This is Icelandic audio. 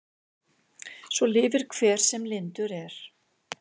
Svo lifir hver sem lyndur er.